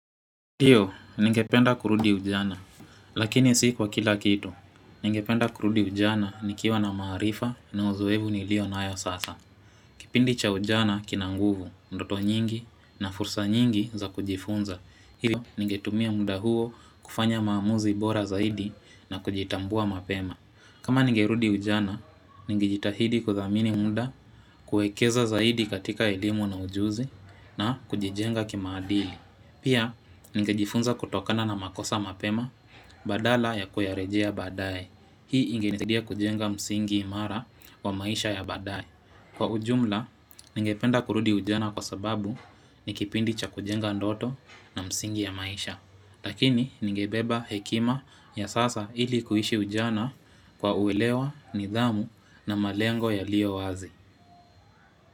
Ndio, ninge penda kurudi ujana, lakini si kwa kila kitu. Ninge penda kurudi ujana nikiwa na maarifa na uzoefu nilio nayo sasa. Kipindi cha ujana kina nguvu, ndoto nyingi na fursa nyingi za kujifunza. Hivyo, ninge tumia muda huo kufanya maamuzi bora zaidi na kujitambua mapema. Kama ninge rudi ujana, ninge jitahidi kuthamini muda kuwekeza zaidi katika elimu na ujuzi na kujijenga kimaadili. Pia, ningejifunza kutokana na makosa mapema, badala ya kuyarejea baadae Hii inge nisidia kujenga msingi imara wa maisha ya baadae Kwa ujumla, ninge penda kurudi ujana kwa sababu nikipindi cha kujenga ndoto na msingi ya maisha. Lakini, ningebeba hekima ya sasa ili kuishi ujana kwa uelewa, nidhamu na malengo yaliyo wazi.